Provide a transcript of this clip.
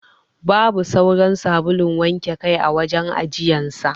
Babu sauran sabulun wanke kai a wajen ajiyan sa.